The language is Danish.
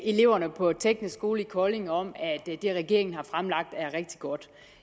eleverne på teknisk skole i kolding om at det regeringen har fremlagt er rigtig godt